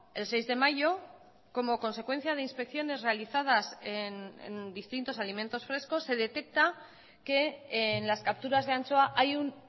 el seis de mayo como consecuencia de inspecciones realizadas en distintos alimentos frescos se detecta que en las capturas de anchoa hay un